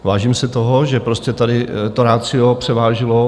Vážím si toho, že prostě tady to ratio převážilo.